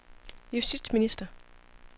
justitsminister